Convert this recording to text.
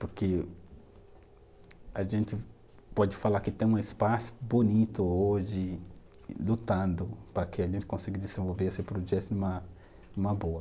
Porque a gente pode falar que tem um espaço bonito hoje, lutando para que a gente consiga desenvolver esse projeto numa, numa boa.